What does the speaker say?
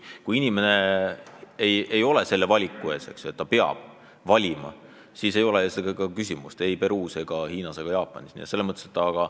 Kui inimene ei ole selle kohustuse ees, et ta peab valima, siis ei ole meie jaoks küsimust ei Peruus ega Hiinas ega Jaapanis.